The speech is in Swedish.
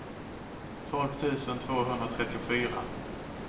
tolv tusen tvåhundratrettiofyra